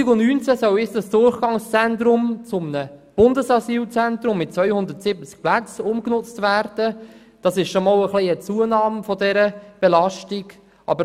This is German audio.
Nun soll das Durchgangszentrum zu einem Bundesasylzentrum mit 270 Plätzen ungenutzt werden, was eine Zunahme der Belastung bedeutet.